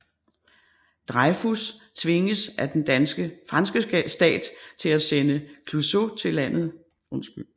Dreyfus tvinges af den franske stat til at sende Clouseau til landet Lugash i Mellemøsten for at se på sagen